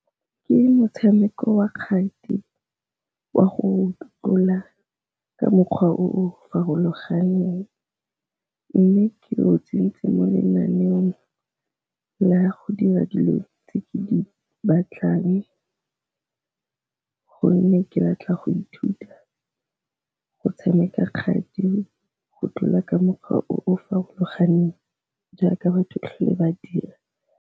Ke motshameko wa kgati wa go tlola ka mokgwa o farologaneng, mme ke o tsentse mo lenaneong la go dira dilo tse ke di batlang gonne ke batla go ithuta go tshameka kgati go tlola ka mokgwa o farologaneng jaaka batho tlhole ba dira.